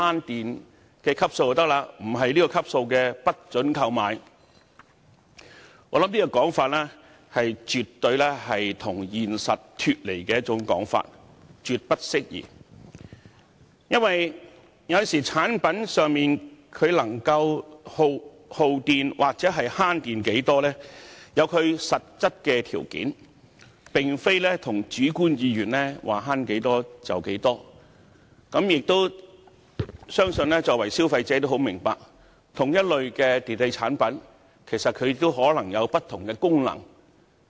我認為這種說法絕對是脫離現實，絕不適宜。因為產品的耗電量或節能情況，受實質條件限制，並非按議員主觀意願決定省電量，我相信消費者十分明白這點，因同一類電器產品可能有不同的功能。